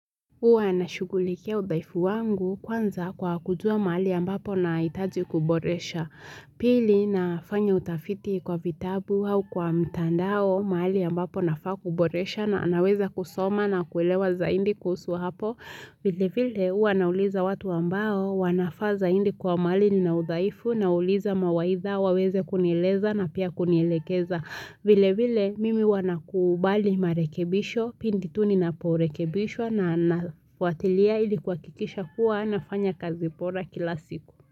Huwa nashugulikia udhaifu wangu kwanza kwa kujua mahali ambapo nahitaji kuboresha. Pili nafanya utafiti kwa vitabu au kwa mitandao mahali ambapo nafaa kuboresha na naweza kusoma na kuelewa zaidi kuhusu hapo. Vile vile huwa nauliza watu ambao wanafaa zaidi kwa mahali nina udhaifu nawauliza mawaidha waweze kunieleza na pia kunielekeza. Vile vile mimi huwa nakubali marekebisho, pindi tu ninaporekebishwa na fwatilia ili kuhakikisha kuwa nafanya kazi bora kila siku.